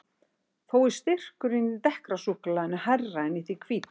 Þó er styrkurinn í dekkra súkkulaðinu hærri en í því hvíta.